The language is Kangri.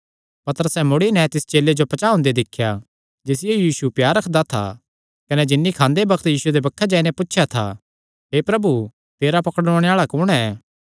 पतरसैं मुड़ी नैं तिस चेले जो पचांह़ ओंदे दिख्या जिसियो यीशु प्यार रखदा था कने जिन्नी खांदे बग्त यीशुये दे बक्खे जाई नैं पुछया था हे प्रभु तेरा पकड़ुआणे आल़ा कुण ऐ